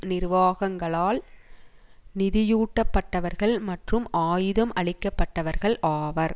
நிர்வாகங்களால் நிதியூட்டப்பட்டவர்கள் மற்றும் ஆயுதம் அளிக்கப்பட்டவர்கள் ஆவர்